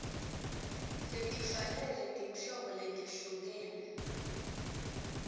letifanele tinhlobo letehlukene